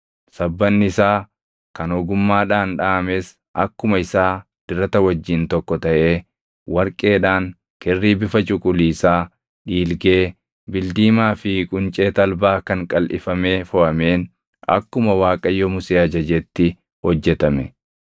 Sabbanni isaa kan ogummaadhaan dhaʼames akkuma isaa dirata wajjin tokko taʼee warqeedhaan, kirrii bifa cuquliisaa, dhiilgee, bildiimaa fi quncee talbaa kan qalʼifamee foʼameen akkuma Waaqayyo Musee ajajetti hojjetame.